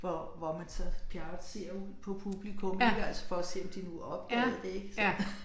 Hvor hvor man så Pjerrot ser ud på publikum ik altså for at se om de nu opdagede det ik så